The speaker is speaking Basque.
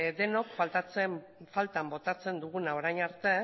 denok faltan botatzen duguna orain arte